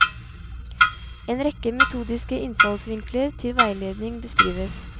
En rekke metodiske innfallsvinkler til veiledning beskrives.